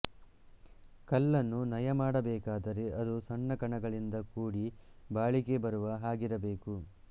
ಕಲ್ಲನ್ನು ನಯಮಾಡಬೇಕಾದರೆ ಅದು ಸಣ್ಣ ಕಣಗಳಿಂದ ಕೂಡಿ ಬಾಳಿಕೆ ಬರುವ ಹಾಗಿರಬೇಕು